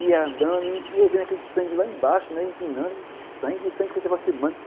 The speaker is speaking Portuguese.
Ia andando e ia ouvindo aquele sangue lá embaixo, empinando, que sangue, e o sangue foi se aproximando.